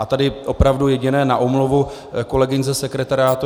A tady opravdu jediné na omluvu kolegyň ze sekretariátu.